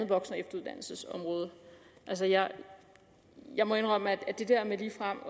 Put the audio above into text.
voksen og efteruddannelsesområdet jeg må indrømme at det der med ligefrem